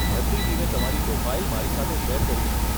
ભરતી ટીમે તમારી પ્રોફાઇલ મારી સાથે શેર કરી છે.